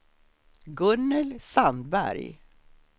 Gunnel Sandberg